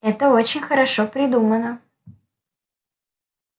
это очень хорошо придумано